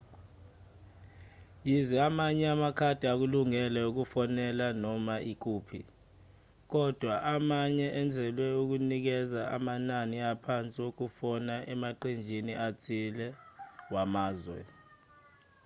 yize amanye amakhadi ekulungele ukufonela noma ikuphi kodwa amanye enzelwe ukunikeza amanani aphansi wokufona emaqenjini athile wamazwe